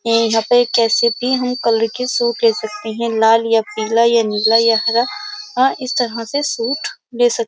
ये यहाँ पे कैसे भी हम कलर के सूट ले सकते हैं लाल या पीला या नीला या हरा और इस तरह से सूट ले सकते --